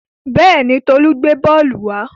Bẹ́ẹ̀ni, Tolú gbé bọ́ọ́lù wa.